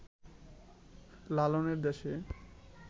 লালনের দেশে